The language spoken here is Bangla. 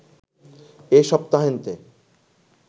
এ সপ্তাহান্তে